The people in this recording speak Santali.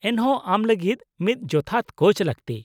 ᱼᱮᱱᱦᱚᱸ ᱟᱢ ᱞᱟᱹᱜᱤᱫ ᱢᱤᱫ ᱡᱚᱛᱷᱟᱛ ᱠᱳᱪ ᱞᱟᱹᱠᱛᱤ ᱾